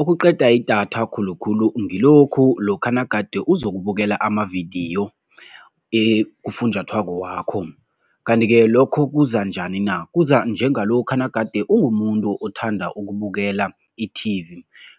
Okuqeda idatha khulukhulu ngilokhu lokha nagade uzokubukela amavidiyo kufunjathwako wakho kanti-ke lokho kuza njani na? Kuza njengalokha nagade ungumuntu othanda ukubukela i-T_V